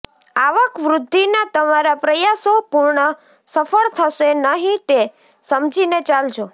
આવકવૃદ્ધિના તમારા પ્રયાસો પૂર્ણ સફળ થશે નહિ તે સમજીને ચાલજો